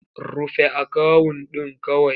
Rufe akawun ɗin kawai!